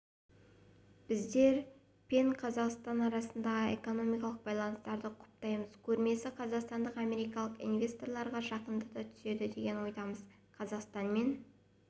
біздер пен қазақстан арасындағы экономикалық байланыстарды құптаймыз көрмесі қазақстанды америкалық инвесторларға жақындата түседі деген ойдамыз қазақстанмен